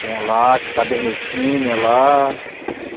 Tinha lá, cadernetinha lá.